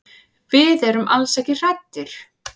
Við erum alls ekki hræddir.